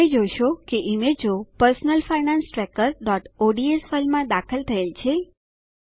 તમે જોશો કે ઈમેજો personal finance trackerઓડ્સ ફાઈલમાં દાખલ થયેલ છે